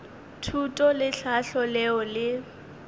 thuto le tlhahlo leo le